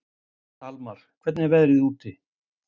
Dalmar, hvernig er veðrið úti?